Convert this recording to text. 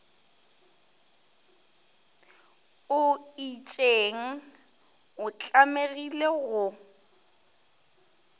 o itšeng o tlamegile go